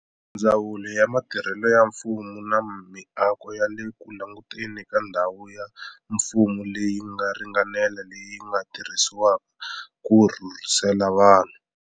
Ndzawulo ya Mitirho ya Mfumo na Miako yi le ku languteni ka ndhawu ya mfumo leyi nga ringanela leyi nga tirhisiwaka ku rhurhisela vanhu.